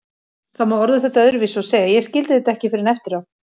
Það má orða þetta öðruvísi og segja: Ég skildi þetta ekki fyrr en eftir á.